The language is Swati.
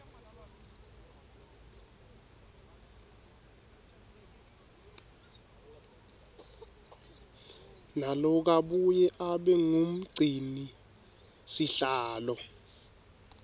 nalokabuye abe ngumgcinisihlalo